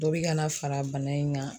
Dɔ bi ka na fara bana in gan